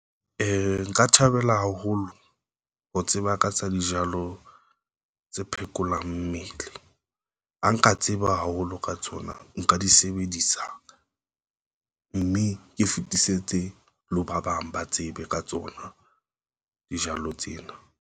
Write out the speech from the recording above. Nka thabela haholo ho tseba ka tsa dijalo tse phekolang mmele a nka tseba haholo ka tsona. Nka di sebedisa mme ke fetisetse le ho ba bang ba tsebe ka tsona. Dijalo tsena.